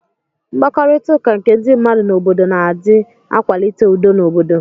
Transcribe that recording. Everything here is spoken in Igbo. mkpakọrita nke ndi mmadu na obodo na adi akwalite udo n'obodo.